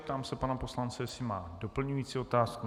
Ptám se pana poslance, jestli má doplňující otázku.